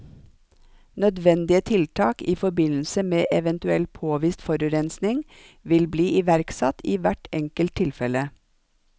Nødvendige tiltak i forbindelse med eventuell påvist forurensning vil bli iverksatt i hvert enkelt tilfelle.